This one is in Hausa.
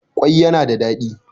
kwai yana da dadi